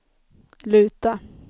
luta